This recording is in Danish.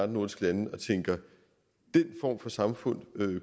nordiske lande og tænke den form for samfund